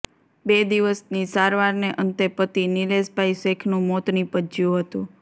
બે દિવસની સારવારને અંતે પતિ નિલેષભાઇ શેખનું મોત નિપજ્યું હતું